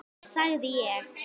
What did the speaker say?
sagði ég.